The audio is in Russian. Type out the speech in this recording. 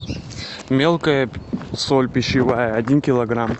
мелкая соль пищевая один килограмм